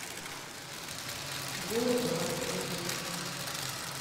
горбатову